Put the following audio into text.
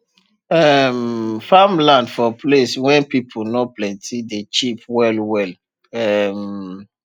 um farmland for place wen pipu nor plenti dey cheap well well um